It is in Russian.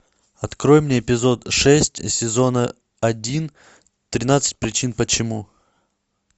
открой мне эпизод шесть сезона один тринадцать причин почему